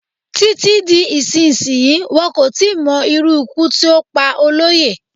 Títí di ìsinsìnyí, wọn kò tí ì mo irú ikú tí ó pa Olóyè.